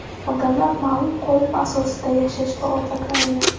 Odamlar ma’lum qolip asosida yashashga odatlangan.